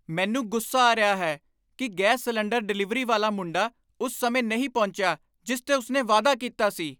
ਮੈਨੂੰ ਗੁੱਸਾ ਆ ਰਿਹਾ ਹੈ ਕਿ ਗੈਸ ਸਿਲੰਡਰ ਡਿਲਿਵਰੀ ਵਾਲਾ ਮੁੰਡਾ ਉਸ ਸਮੇਂ ਨਹੀਂ ਪਹੁੰਚਿਆ ਜਿਸ ਤੇ ਉਸ ਨੇ ਵਾਅਦਾ ਕੀਤਾ ਸੀ।